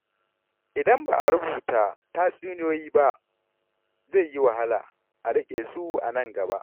Idan ba a rubuta tatsuniyoyi ba, zai yi wahala a riƙe su a nan gaba.